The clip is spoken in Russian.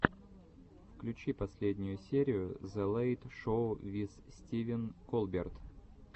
включи последнюю серию зе лэйт шоу виз стивен колберт